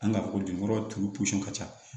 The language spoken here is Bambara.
An ka ko jukɔrɔ turu ka ca